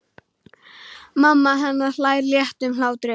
Mamma hennar hlær léttum hlátri.